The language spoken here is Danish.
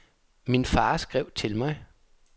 Min far skrev til mig.